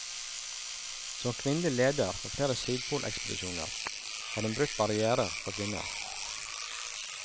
Som kvinnelig leder for flere sydpolekspedisjoner har hun brutt barrierer for kvinner.